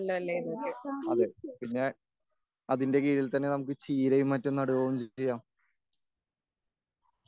അതെ പിന്നെ അതിന്റെ കീഴിൽ തന്നെ നമുക്ക് ചീരയും മറ്റും നടുകയും ചെയ്യാം.